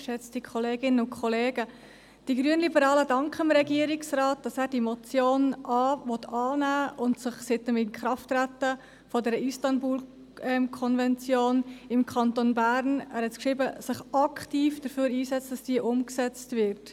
Die Grünliberalen danken dem Regierungsrat, dass er die Motion annehmen möchte und sich seit dem Inkrafttreten der Istanbul-Konvention im Kanton Bern – er hat es geschrieben – aktiv dafür einsetzt, dass diese umgesetzt wird.